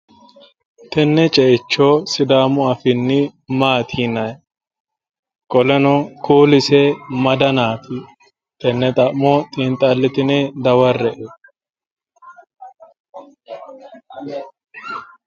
Tenne ceicho sidaamu afiinni maati yinanni? Qoleno kuullise ma danaati tenne xa'mo xiinxalitine dawarre''e.